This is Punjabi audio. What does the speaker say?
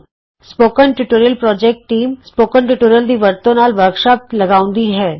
spoken tutorial team spoken tutorial ਦੀ ਵਰਤੋਂ ਨਾਲ ਵਰਕਸ਼ਾਪ ਲਗਾਉਂਦੀ ਹੈ